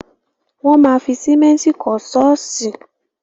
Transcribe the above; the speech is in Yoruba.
Wọ́n ma fi sìmẹ́ntì kọ́ ṣọ́ọ̀ṣì.